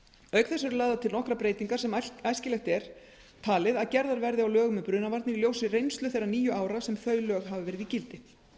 þess eru lagðar til nokkrar breytingar sem æskilegt er talið að gerðar verði á lögum um brunavarnir í ljósi reynslu þeirra níu ára sem þau lög hafa verið í gildi